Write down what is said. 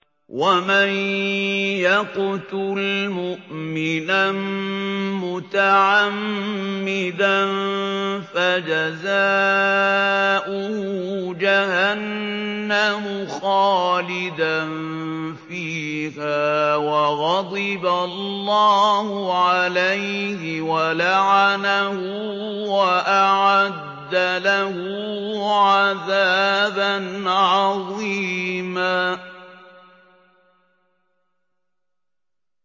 وَمَن يَقْتُلْ مُؤْمِنًا مُّتَعَمِّدًا فَجَزَاؤُهُ جَهَنَّمُ خَالِدًا فِيهَا وَغَضِبَ اللَّهُ عَلَيْهِ وَلَعَنَهُ وَأَعَدَّ لَهُ عَذَابًا عَظِيمًا